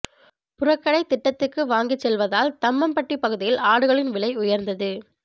புறக்கடை திட்டத்துக்கு வாங்கிச் செல்வதால் தம்மம்பட்டி பகுதியில் ஆடுகளின் விலை உயா்ந்தது